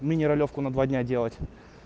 мини ролёвку на два дня делать